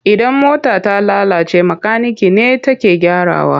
Idan mota ta lalace makanike ne take gyarawa.